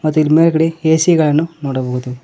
ಮತ್ ಇಲ್ಲಿ ಮೇಲ್ಗಡೆ ಎ_ಸಿ ಗಳನ್ನು ನೋಡಬಹುದು.